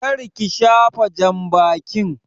Kar ki shafa jambakin!